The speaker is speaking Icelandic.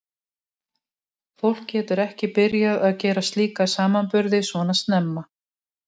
Fólk getur ekki byrjað að gera slíka samanburði svona snemma.